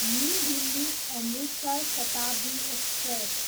new Delhi, Amritsar Shatabdi express